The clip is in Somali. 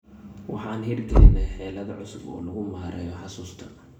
Waxaan hirgelinay xeelado cusub oo lagu maareeyo xusuusta.